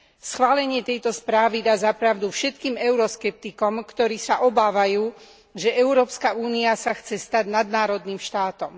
Schválenie tejto správy dá za pravdu všetkým euroskeptikom, ktorí sa obávajú, že Európska únia sa chce stať nadnárodným štátom.